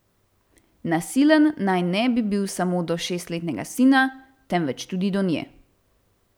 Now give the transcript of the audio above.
Nasilen naj ne bi bil samo do šestletnega sina, temveč tudi do nje.